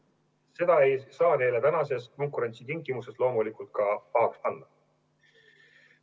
Seda ei saa neile konkurentsitingimustes loomulikult ka pahaks panna.